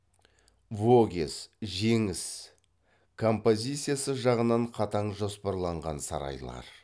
вогез жеңіс композициясы жағынан қатаң жоспарланған сарайлар